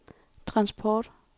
transport